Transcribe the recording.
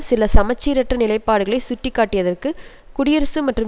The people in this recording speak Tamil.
சில சமச்சீரற்ற நிலைபாடுகளை சுட்டிக்காட்டியதற்கு குடியரசு மற்றும்